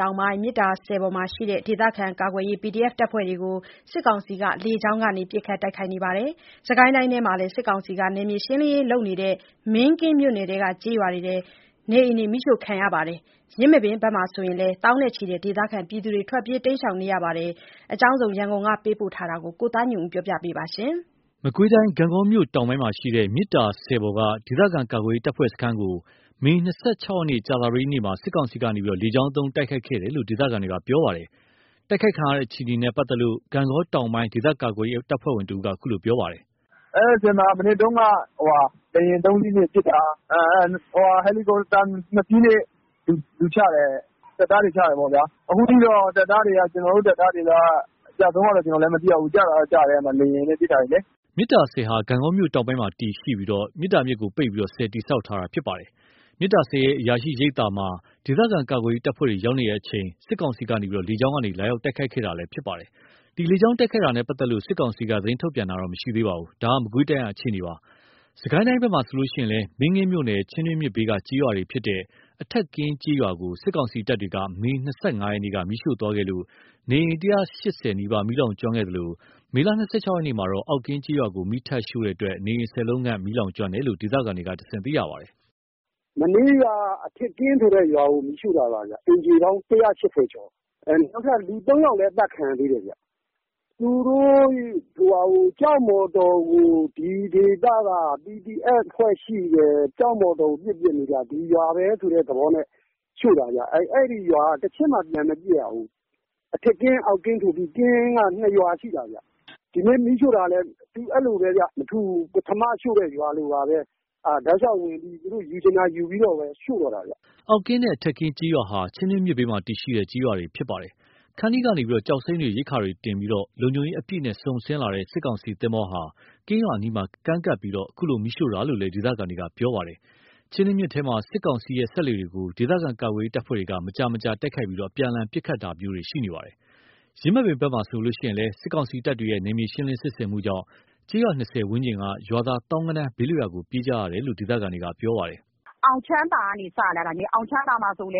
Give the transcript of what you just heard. တောင်ပိုင်း မြစ်သာဆည်ပေါ်မှာရှိတဲ့ ဒေသခံကာကွယ်ရေးတပ်ဖွဲ့တွေကို စစ်ကောင်စီက လေကြောင်းကနေ ပစ်ခတ်တိုက်ခိုက်ခဲ့ပါတယ်။ စစ်ကိုင်းတိုင်းထဲမှာလည်း စစ်ကောင်စီက နယ်မြေရှင်းလင်းရေးလုပ်နေတဲ့ မင်းကင်းမြို့နယ်က ကျေးရွာတွေမှာ နေအိမ်တွေ မီးရှို့ခံရပြီး ယင်းမာပင်ဘက်မှာဆိုရင်လည်း သောင်းနဲ့ချီတဲ့ ဒေသခံတွေ ထွက်ပြေး တိမ်းရှောင်နေရပါတယ်။ ရန်ကုန်က ပေးပို့လာတဲ့သတင်း ကိုသားညွန့်ဦးက တင်ပြပေးထားပါတယ်။ မကွေးတိုင်းဒေသကြီး ဂန့်ဂေါမြို့တောင်ပိုင်းမှာရှိတဲ့ မြစ်သာဆည်ပေါ်က ဒေသခံကာကွယ်ရေး တပ်ဖွဲ့စခန်းကို မေ ၂၆ ရက် ကြာသပတေးနေ့မှာ စစ်ကောင်စီက လေကြောင်းသုံး တိုက်ခိုက်ခဲ့တယ်လို့ ဒေသခံတွေကပြောပါတယ်။ တိုက်ခိုက်ခံရတဲ့ အခြေအနေနဲ့ ပတ်သက်လို့ ဂန့်ဂေါ တောင်ပိုင်း ဒေသခံကာကွယ်ရေး တပ်ဖွဲ့ဝင်တဦးက အခုလိုပြောပါတယ်။ “အဲဒီဆည်မှာ မနက်တုန်းက လေယာဉ် ၃ စီးနဲ့ပစ်တာ။ ဟယ်လီကော်ပတာ ၂ စီးနဲ့ လူချတယ်။ စစ်သားတွေ ချတယ်ပေါ့ဗျာ။ အခုထိတော့ ကျနော်တို့တပ်သားတွေ အကျအဆုံးတော့မသိရသေးဘူး။ ကျတာတော့ ကျတယ်။ အဲဒီမှာ လေယာဉ်နဲ့ပစ်တာလေ။” မြစ်သာဆည်ဟာ ဂန့်ဂေါမြို့တောင်ပိုင်းမှာ တည်ရှိပြီး မြစ်သာမြစ်ကိုပိတ်ပြီး ဆည်တည်ဆောက် ထားတာ ဖြစ်ပါတယ်။ မြစ်သာဆည်ရဲ့ အရာရှိရိပ်သာမှာ ဒေသခံကာကွယ်ရေး တပ်ဖွဲ့တွေ ရောက်ရှိနေချိန် စစ်ကောင်စီက လေကြောင်းကနေ လာရောက်တိုက်ခိုက်ခဲ့တာလည်း ဖြစ်ပါတယ်။ ဒီလေကြောင်း တိုက်ခိုက်တာနဲ့ ပတ်သက်လို့ စစ်ကောင်စီက သတင်းထုတ်ပြန်တာတော့ မရှိသေးပါဘူး။ ဒါက မကွေးတိုင်းက အခြေအနေပါ။ စစ်ကိုင်းတိုင်းဘက်မှာဆိုရင်လည်း မင်းကင်းမြို့နယ် ချင်းတွင်းမြစ်ဘေးက ကျေးရွာဖြစ်တဲ့ အထက်ကင်းကျေးရွာကို စစ်ကောင်စီတပ်တွေက မေလ ၂၅ က မီးရှို့သွားခဲ့လို့ နေအိမ် ၁၈၀ နီးပါး မီးလောင်ကျွမ်းခဲ့သလို မေလ ၂၆ ရက်မှာတော့ အောက်ကင်းကျေးရွာကို မီးထပ်ရှို့တဲ့အတွက် နေအိမ် ၁၀ လုံးခန့် မီးလောင်ကျွမ်းခဲ့တယ်လို့ ဒေသခံတွေကတဆင့် သိရပါတယ်။ “မနေ့က အထက်ကင်းဆိုတဲ့ရွာကို မီးရှို့တာပါ။ အိမ်ခြေပေါင်းက ၁၈၀ ကျော်တယ်။ နောက်ထပ် ၃ ယောက်လည်း အသတ်ခံရသေးတယ်။ သူတို့ ကျောက်မော်တော်ကို ဒီဒေသက PDF ရှိတယ်၊ ကျောက်မော်တော်ကို ပစ်တာ။ ဒီရွာပဲဆိုတဲ့ သဘောနဲ့ အဲ့ဒီရွာက တချက်မှ ပြန်မပစ်ရဘူး။ အထက်ကင်း အောက်ကင်းဆိုပြီး ကင်းက ၂ ဒီနေ့ မီးရှို့တာလည်း မထူးဘူး။ ပထမရှို့တဲ့ ရွာလိုပါပဲ၊ တောက်လျှောက်ဝင်ပြီး သူတို့ယူချင်တာယူပြီးတော့ပဲရှို့တော့တာဗျ အောက်ကင်းနဲ့ အထက်ကင်းကျေးရွာဟာ ချင်းတွင်း မြစ်ဘေးမှာ တည်ရှိတဲ့ ကျေးရွာတွေလည်း ဖြစ်ပါတယ်။ ခန္တီးကနေ ကျောက်စိမ်းတွေ၊ ရိက္ခာတွေ တင်ဆောင်ပြီး လုံခြုံရေးအပြည့်နဲ့ စုန်ဆင်းလာတဲ့ စစ်ကောင်စီသင်္ဘောဟာ ကင်းရွာအနီးမှာကမ်းကပ်ပြီး အခုလို မီးရှို့တာလို့လည်း ဒေသခံတွေက ပြောပါတယ်။ ချင်းတွင်းမြစ်ထဲမှာ စစ်ကောင်စီရဲ့ စက်လှေတွေကို ဒေသခံ ကာကွယ်ရေး တပ်ဖွဲ့တွေက မကြာခဏတိုက်ခိုက်ပြီး အပြန်အလှန် ပစ်ခတ်ကြတာတွေလည်းရှိနေပါတယ်။ ယင်းမာပင်ဘက်မှာဆိုရင်လည်း စစ်ကောင်စီတပ်တွေရဲ့ နယ်မြေရှင်းလင်းစစ်ဆင်မှုကြောင့် ကျေး ရွာ၂၀ ဝန်းကျင်က ရွာသား သောင်းဂဏန်းဘေးလွတ်ရာကို ပြေးကြရတယ်လို့ ဒေသခံတွေပြောပါတယ်။ “အောင်ချမ်းသာကနေ စလာတာ၊ အောင်ချမ်းသာက အမတို့